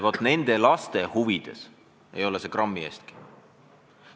Vaat nende laste huvides ei ole see grammi võrragi.